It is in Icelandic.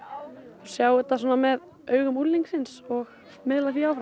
sjá þetta með augum unglingsins og miðla því áfram